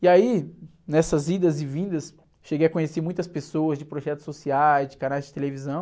E aí, nessas idas e vindas, cheguei a conhecer muitas pessoas de projetos sociais, de canais de televisão.